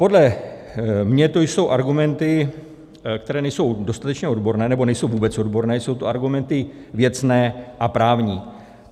Podle mě to jsou argumenty, které nejsou dostatečně odborné, nebo nejsou vůbec odborné, jsou to argumenty věcné a právní.